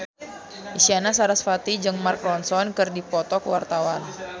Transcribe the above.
Isyana Sarasvati jeung Mark Ronson keur dipoto ku wartawan